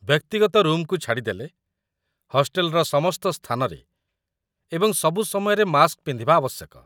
ବ୍ୟକ୍ତିଗତ ରୁମ୍‌କୁ ଛାଡ଼ିଦେଲେ, ହଷ୍ଟେଲର ସମସ୍ତ ସ୍ଥାନରେ ଏବଂ ସବୁ ସମୟରେ ମାସ୍କ ପିନ୍ଧିବା ଆବଶ୍ୟକ